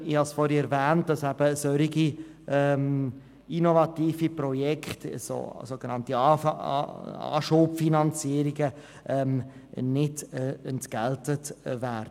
Ich habe vorhin erwähnt, dass solche innovativen Projekte, die eine Anschubfinanzierung benötigen, nicht abgegolten werden.